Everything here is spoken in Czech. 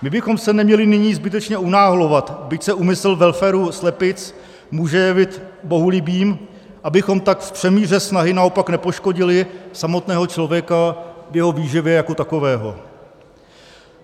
My bychom se neměli nyní zbytečně unáhlovat, byť se úmysl welfare slepic může jevit bohulibým, abychom tak v přemíře snahy naopak nepoškodili samotného člověka v jeho výživě jako takového.